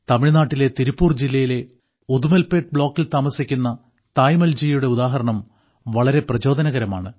തമിഴ്നാട്ടിലെ തിരുപ്പൂർ ജില്ലയിലെ ഉദുമൽപ്പേട്ട് ബ്ലോക്കിൽ താമസിക്കുന്ന തായമ്മാൾജിയുടെ ഉദാഹരണം വളരെ പ്രചോദനകരമാണ്